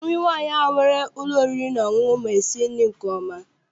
Nri nwaanyị ahụ nwere ụlọ oriri na ọṅụṅụ ma esi nri nke ọma.